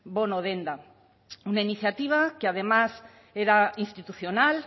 bono denda una iniciativa que además era institucional